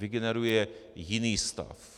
Vygeneruje jiný stav.